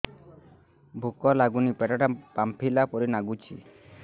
ଭୁକ ଲାଗୁନି ପେଟ ଟା ଫାମ୍ପିଲା ପରି ନାଗୁଚି